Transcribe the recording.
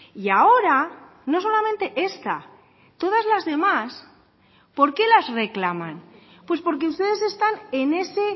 y ahora no solamente esta todas las demás por qué las reclaman pues porque ustedes están en ese